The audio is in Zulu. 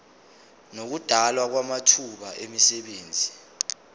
nokudalwa kwamathuba emisebenzi